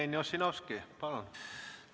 Jevgeni Ossinovski, palun!